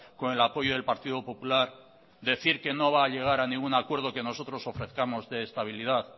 con el apoyo del partido popular decir que no va a llegar a ningún acuerdo que nosotros ofrezcamos de estabilidad